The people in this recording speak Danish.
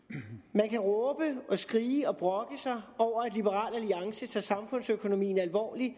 man kan råbe og skrige og brokke sig over at liberal alliance tager samfundsøkonomien alvorligt